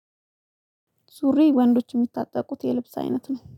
ሱሪ ወንዶች የሚታጠቁት የልብስ አይነት ነው